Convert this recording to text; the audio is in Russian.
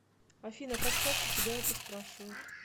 афина как часто тебя это спрашивают